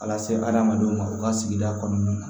A lase adamadenw ma u ka sigida kɔnɔna na